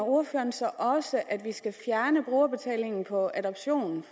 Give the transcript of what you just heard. ordføreren så også mener at vi skal fjerne brugerbetaling for adoption